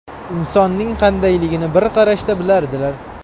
Insonning qandayligini bir qarashda bilardilar.